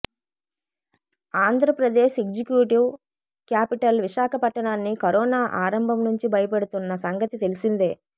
Andhra Pradesh executive capital విశాఖపట్టణాన్ని corona ఆరంభం నుంచి భయపెడుతున్న సంగతి తెలిసిందే